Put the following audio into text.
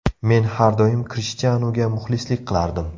Men har doim Krishtianuga muxlislik qilardim.